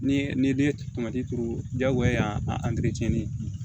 Ni ne ye tomati kuru diyagoya a